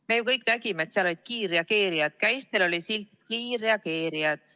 Me kõik nägime, et seal olid kiirreageerijad, nende käistel oli silt "Kiirreageerijad".